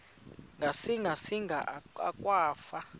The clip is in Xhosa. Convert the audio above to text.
ngasinga singa akwafu